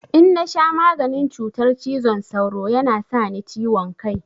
In na sha maganin cutar cizon sauro ya na sa ni ciwon kai.